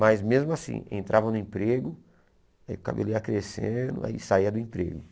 Mas mesmo assim, entrava no emprego, o cabelo ia crescendo, aí saía do emprego.